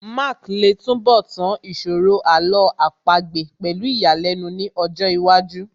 Mark lè túnbọ̀ tán ìṣòro Àlọ́ àpagbè pẹ̀lú ìyàlẹ́nu ní ọjọ́ iwájú